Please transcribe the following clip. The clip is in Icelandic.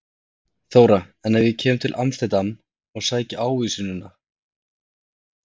Þóra: En ef ég kem til Amsterdam og sæki ávísunina?